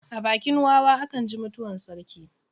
A bakin wawa a kan ji mutuwar sarki.